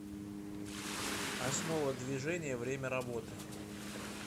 основа движения время работы